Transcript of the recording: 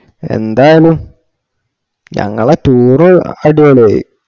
ന്തായാലും ഞങ്ങളാ tour അടിപൊളിയായി